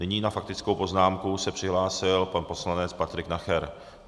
Nyní na faktickou poznámku se přihlásil pan poslanec Patrik Nacher.